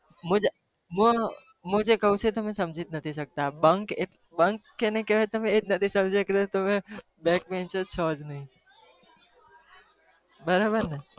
હું હું હું જે કહું છુ એ તમે સમજી જ નથી શકતા. bunk એટલે bunk કોને કહેવાય તમે એ જ નથી સમજી શકતા તો તમે back bancher છો જ નહી. બરાબરને?